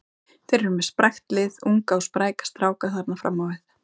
Þeir eru með sprækt lið, unga og spræka stráka þarna fram á við.